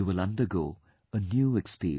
You will undergo a new experience